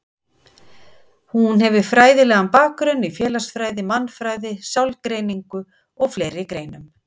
Hún hefur fræðilegan bakgrunn í félagsfræði, mannfræði, sálgreiningu og fleiri greinum.